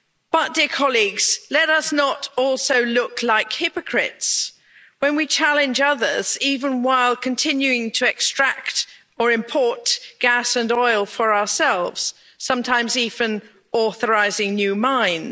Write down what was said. But, dear colleagues, let us not also look like hypocrites when we challenge others even while continuing to extract or import gas and oil for ourselves sometimes even authorising new mines.